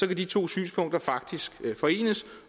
kan de to synspunkter faktisk forenes